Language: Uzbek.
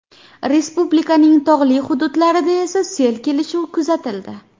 Respublikaning tog‘li hududlarida esa sel kelishi kuzatildi.